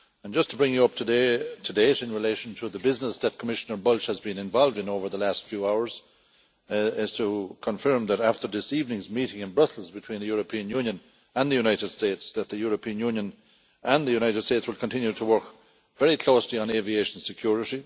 Just to bring you up to date in relation to the business that Commissioner Bulc has been involved in over the last few hours, I can confirm that after this evening's meeting in Brussels between the European Union and the United States that the European Union and the United States will continue to work very closely on aviation security.